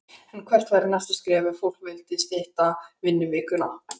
En hvert væri næsta skref ef fólk vill stytta vinnuvikuna?